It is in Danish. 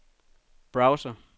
browser